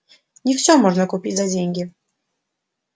не всё можно купить за деньги